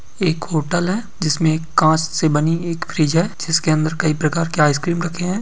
एक होटल है जिसमे कांच से बनी एक फ्रिज है जिसके अंदर कई प्रकार के आइस क्रीम रखे है।